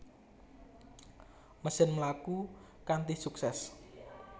Mesin mlaku kanthi suksès